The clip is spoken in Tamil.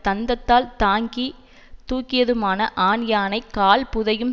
தந்தத்தால் தாங்கி தூக்கியதுமான ஆண்யானை கால் புதையும்